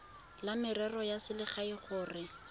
la merero ya selegae gore